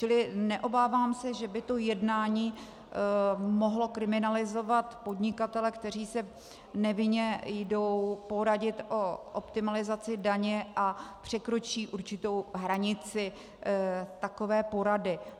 Čili neobávám se, že by to jednání mohlo kriminalizovat podnikatele, kteří se nevinně jdou poradit o optimalizaci daně a překročí určitou hranici takové porady.